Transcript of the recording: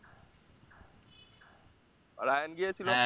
আর আয়ান গিয়েছিলো?